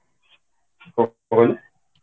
କଣ କହିଲେ